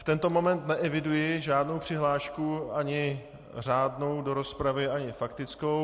V tento moment neeviduji žádnou přihlášku, ani řádnou do rozpravy ani faktickou.